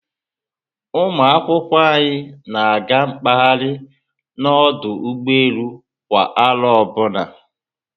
Ụmụ akwụkwọ anyị na-aga mkpahari na ọdụ ụgbọelu kwa aro ọbụna